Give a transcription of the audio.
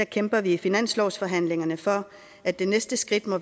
kæmper vi i finanslovsforhandlingerne for at det næste skridt må